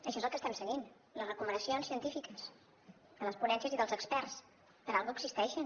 això és el que estem seguint les recomanacions científiques de les ponències i dels experts per alguna cosa existeixen